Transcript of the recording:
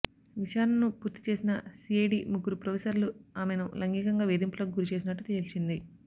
విచారణను పూర్తి చేసిన సీఐడీ ముగ్గురు ప్రొఫెసర్లు ఆమెను లైంగికంగా వేధింపులకు గురిచేసినట్టు తేల్చింది